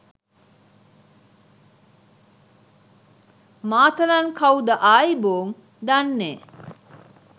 මාතලන් කව්ද ආයිබෝං දන්නේ